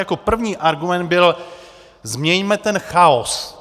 Jako první argument byl - změňme ten chaos.